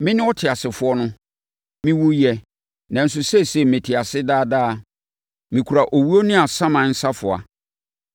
Mene ɔteasefoɔ no! Mewuiɛ, nanso seesei mete ase daa daa. Mekura owuo ne asaman safoa.